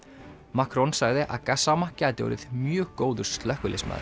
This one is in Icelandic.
Macron sagði að Gassama gæti orðið mjög góður slökkviliðsmaður